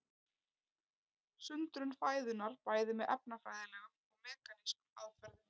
Sundrun fæðunnar bæði með efnafræðilegum og mekanískum aðferðum.